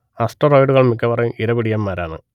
അസ്റ്ററോയ്ഡുകൾ മിക്കവാറും ഇരപിടിയന്മാരാണ്